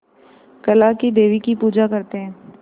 काला क़ी देवी की पूजा करते है